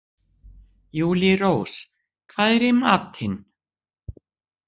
Júlírós, hvað er í matinn?